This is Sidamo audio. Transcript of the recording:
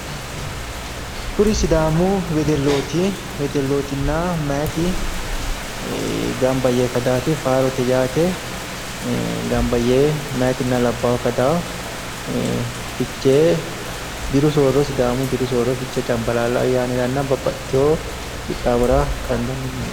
Kuri sidaamu wedellooti, wedellootinna meyaati gamba yee kadaati faarote yinayiite gamba yee meyaatinna labbaahu kadaa. Fichee diru soorro sidaamu diru soorro cambaalaalla ayyaaniranna babbaxitewo qixxaawora kandanni.